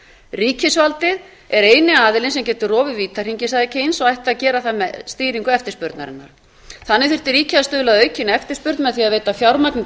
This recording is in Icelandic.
ríkisvaldið er eini aðilinn sem getur rofið vítahringinn sagði eins og ætti að gera það með stýringu eftirspurnarinnar þannig þyrfti ríkið að stuðla að aukinni eftirspurn með því að veita fjármagni